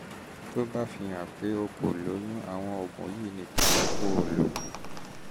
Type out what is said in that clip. tó bá fihàn pé pé o kò lóyún àwọn oògùn yìí nìkan ni kó o lò